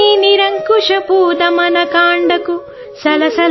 నిరంకుశ దమన కాండను చూసి